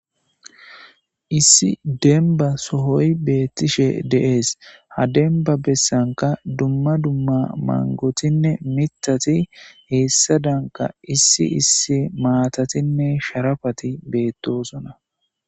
Issi demba sohoy beettishe deees ha denba bessanka dumma dumma mangotinne mitati heessadanka issi issi maatatinne sharafati beettosona